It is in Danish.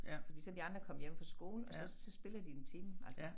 Fordi så de andre kommet hjem fra skole og så så spiller de en time altså